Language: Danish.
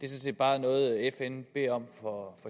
set bare er noget fn beder om for